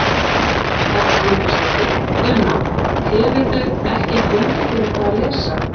Edda Andrésdóttir: Una, hefurðu ekki fundið þér eitthvað að lesa?